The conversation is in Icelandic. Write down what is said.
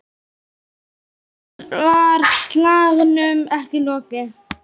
Fyrr var slagnum ekki lokið.